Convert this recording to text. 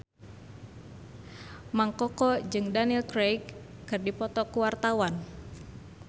Mang Koko jeung Daniel Craig keur dipoto ku wartawan